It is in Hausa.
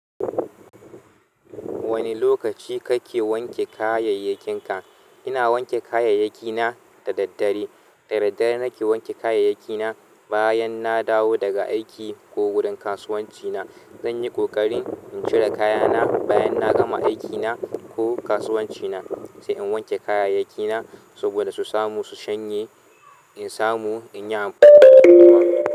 Wane lokaci kake wanke kayayyakinka? Ina wanke kayayyaki na da daddare. Da daddare nake wanke kayayyaki na bayan na dawo daga aiki ko gurin kasuwanci na. Zanyi ƙoƙarin in cire kayana bayan na gama aiki na ko kasuwanci na sai in wanke kayayyaki na saboda su samu su shanye in samu in yi amfani dasu.